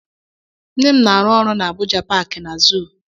Nne m na-arụ ọrụ na Abuja paaki na zuu.